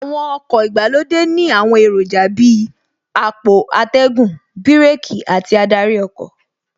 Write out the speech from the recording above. Àwọn ọkọ̀ ìgbàlódé ní àwọn èròjà Bíi àpò atẹ́gùn, bíràkì àti adarí ọkọ̀